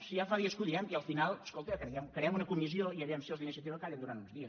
si ja fa dies que ho diem i al final es·colta creem una comissió i a veure si els d’iniciativa callen durant uns dies